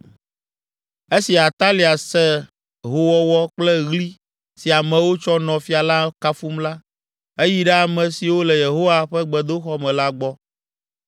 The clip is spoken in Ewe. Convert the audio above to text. Esi Atalia se se howɔwɔ kple ɣli si amewo tsɔ nɔ fia la kafum la, eyi ɖe ame siwo le Yehowa ƒe gbedoxɔ me la gbɔ.